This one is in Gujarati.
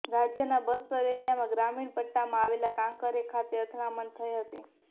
રાજ્યના બસ્તર એરિયામાં ગ્રામીણ પટ્ટામાં આવેલા કાંકેર ખાતે અથડામણ થઈ હતી